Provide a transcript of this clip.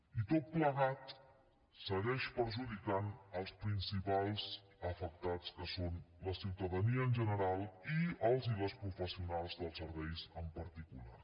i tot plegat segueix perjudicant els principals afectats que són la ciutadania en general i els i les professionals dels serveis en particular